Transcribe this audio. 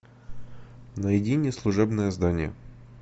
найди мне служебное здание